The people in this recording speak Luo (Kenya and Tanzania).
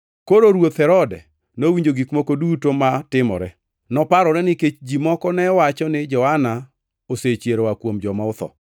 Koro Ruoth Herode nowinjo gik moko duto matimore, to noparore, nikech ji moko ne wacho ni Johana osechier oa kuom joma otho.